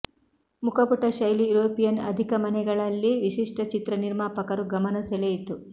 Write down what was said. ಮುಖಪುಟ ಶೈಲಿ ಯುರೋಪಿಯನ್ ಅಧಿಕ ಮನೆಗಳಲ್ಲಿ ವಿಶಿಷ್ಟ ಚಿತ್ರ ನಿರ್ಮಾಪಕರು ಗಮನ ಸೆಳೆಯಿತು